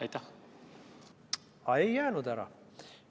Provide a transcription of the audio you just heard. Aga ei jäänud ära.